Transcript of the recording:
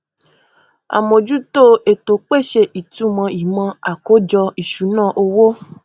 amójútó ètò pèsè ìtumọ ìmò àkójọ ìṣúná owó